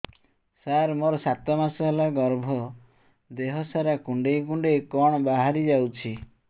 ସାର ମୋର ସାତ ମାସ ହେଲା ଗର୍ଭ ଦେହ ସାରା କୁଂଡେଇ କୁଂଡେଇ କଣ ବାହାରି ଯାଉଛି